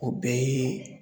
O bɛɛ ye